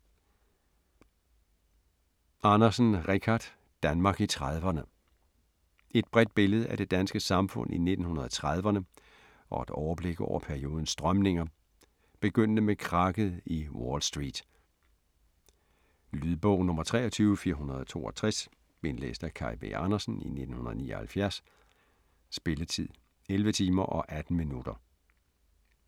Andersen, Richard: Danmark i 30'rne Et bredt billede af det danske samfund i 1930'erne og et overblik over periodens strømninger, begyndende med krakket i Wall Street. Lydbog 23462 Indlæst af Kaj V. Andersen, 1979. Spilletid: 11 timer, 18 minutter.